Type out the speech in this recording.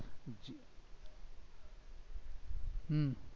હમ